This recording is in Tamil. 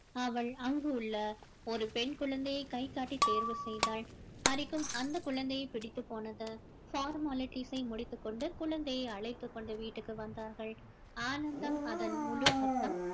அவள் அங்கு உள்ள ஒரு பெண் குழந்தையை கைகாட்டி தேர்வு செய்தாள் ஹரிக்கும் அந்த குழந்தையை பிடித்து போனது formalities ஐ முடித்துக் கொண்டு குழந்தையை அழைத்துக் கொண்டு வீட்டுக்கு வந்தார்கள் ஆனந்தம் அதன் முழு அர்த்தம்